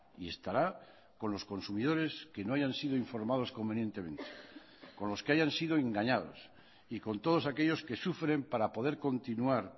y estará con los consumidores que no hayan sido informados convenientemente con los que hayan sido engañados y con todos aquellos que sufren para poder continuar